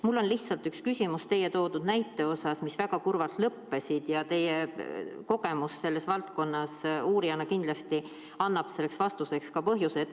Mul on üks küsimus teie toodud näidete kohta, mis väga kurvalt lõppesid, ja teie uurijakogemus selles valdkonnas annab kindlasti vastamiseks ka põhjuse.